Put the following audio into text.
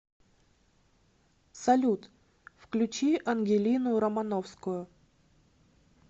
салют включи ангелину романовскую